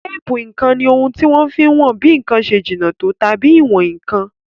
Téèpù ǹkan ni ohun tí wọ́n fi n wọn bí ǹkan ṣe jìnà tó àbí ìwọn nǹkan